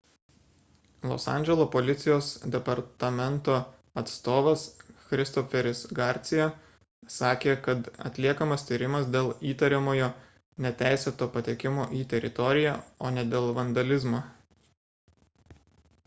los andželo policijos departamento atstovas christopheris garcia sakė kad atliekamas tyrimas dėl įtariamojo neteisėto patekimo į teritoriją o ne dėl vandalizmo